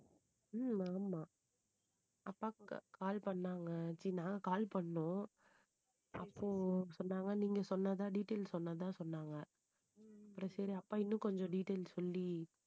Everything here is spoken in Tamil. ஹம் மாமா அப்பாக்கு call பண்ணாங்க, ச்சீ நான் call பண்ணோம் அப்போ சொன்னாங்க நீங்க சொன்னதுதான் detail சொன்னதுதான் சொன்னாங்க. அப்புறம் சரி, அப்பா இன்னும் கொஞ்சம் details சொல்லி